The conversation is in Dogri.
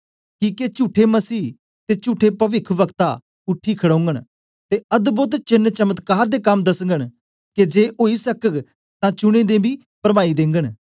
किके चुठे मसीह ते चुठे पविख्वक्ता उठी खड़ोघन ते अद्भोद चेन्न चमत्कार दे कम दसघंन के जे ओई सकग तां चुनें दे बी परमाई देंगन